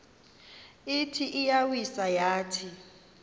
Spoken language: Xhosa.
ithi iyawisa yathi